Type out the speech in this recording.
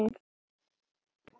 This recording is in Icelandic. Alveg bókað!